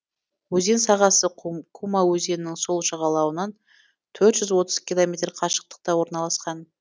өзен сағасы кума өзенінің сол жағалауынан төрт жүз отыз километр қашықтықта орналасқан